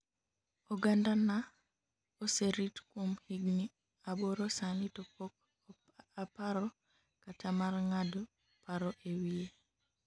oganda na oserit kuom higni aboro sani to pok aparo kata mar ng'ado paro e wiye